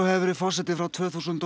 hefur verið forseti frá tvö þúsund